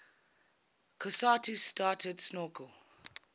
cousteau started snorkel